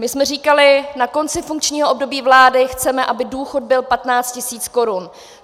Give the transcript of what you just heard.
My jsme říkali, na konci funkčního období vlády chceme, aby důchod byl 15 tisíc korun.